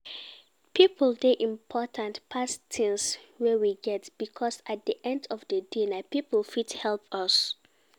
People dey important pass things wey we get because at di end of di day na people fit help us